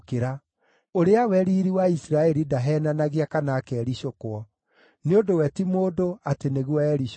Ũrĩa we Riiri wa Isiraeli ndaheenanagia kana akericũkwo; nĩ ũndũ we ti mũndũ, atĩ nĩguo ericũkwo.”